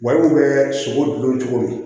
Wariw bɛ sogo dun cogo di